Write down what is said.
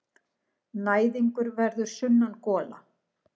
Næðingur verður sunnangola.